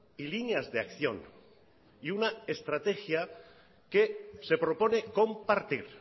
y líneas de acción y una estrategia que se propone compartir